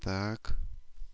так